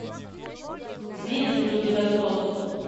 имеется ли у тебя крот